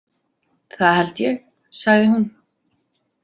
Það held ég, sagði hún.